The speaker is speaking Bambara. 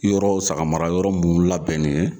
Yɔrɔw sagamarayɔrɔ munnu labɛn nin ye